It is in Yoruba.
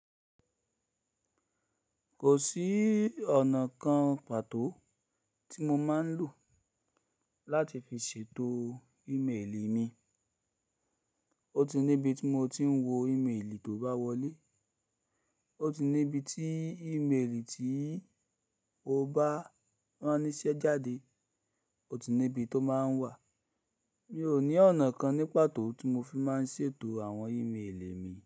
Kò sí ọ̀nà kan pàtó tí mo máa ń lò láti fi ṣètò ímélì mi. Ó ti níbi tí mo ti ń wo ímélì tó bá wọlé, ó ti níbi tí ímélì tí mo bá ránníṣẹ́ jáde ó ti níbi tó máa ń wà. Mi ò ní ọ̀nà kan ní pàtó tí mo fi máa ń ṣètò àwọn ímélì mi.